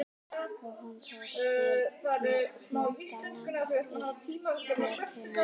Og hún tók til fótanna upp götuna.